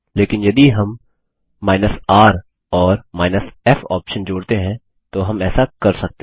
लेकिन यदि हम r और f ऑप्शन जोड़ते हैं तो हम ऐसा कर सकते हैं